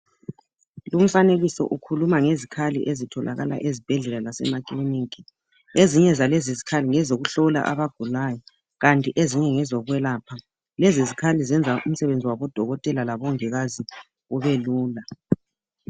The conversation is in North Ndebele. Lumfanekiso ukhuluma ngezikhali ezitholakala ezibhedlela lasemakiliniki ezinye zalezi zikhali ngezokuhlola abagulayo kanti ezinye ngezokwelapha lezi zikhali zenza umsebenzi wabo dokotela labongikazi ubelula.